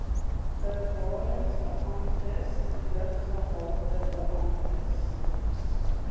bewarings beamptes luggehaltebeamptes